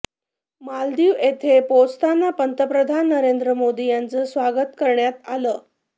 मालदीव येथे पोहोचताच पंतप्रधान नरेंद्र मोदी यांचं स्वागत करण्यात आलं